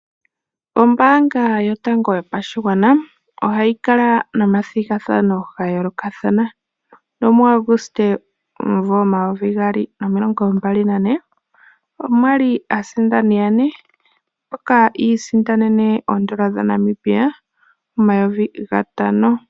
Ombaanga Yotango Yopashigwana ohayi kala nomathigathano ga yoolokathana nomuAuguste 2024 omwa li aasindani yane mboka yi isindanene N$ 5000.